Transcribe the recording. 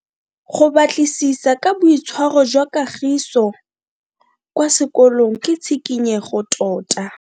Go batlisisa ka boitshwaro jwa Kagiso kwa sekolong ke tshikinyego tota.